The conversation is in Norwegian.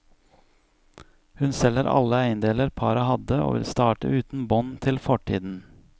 Hun selger alle eiendeler paret hadde og vil starte uten bånd til fortiden.